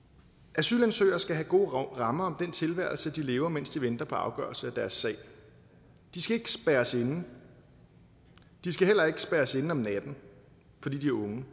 asylansøgere skal have gode rammer om den tilværelse de lever mens de venter på afgørelse af deres sag de skal ikke spærres inde de skal heller ikke spærres inde om natten fordi de er unge